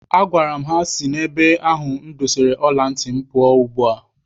Agwara m ha si n'ebe ahụ m dosara ọla ntị m pụọ ugbua!